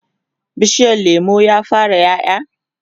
bishiyar lemun ya fara ƴaƴa?